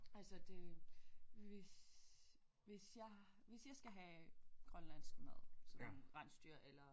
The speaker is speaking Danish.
Altså det hvis hvis jeg hvis jeg skal have grønlandsk mad sådan rensdyr eller